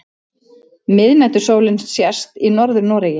Miðnætursólin sést í Norður-Noregi.